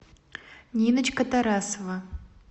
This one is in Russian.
ниночка тарасова